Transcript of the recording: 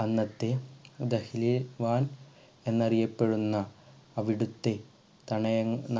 അന്നത്തെ ദഹ്‌ലീൽ എന്നറിയപ്പെടുന്ന അവിടുത്തെ